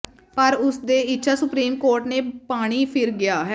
ਪਰ ਉਸ ਦੇ ਇੱਛਾ ਸੁਪਰੀਮ ਕੋਰਟ ਨੇ ਪਾਣੀ ਫਿਰ ਗਿਆ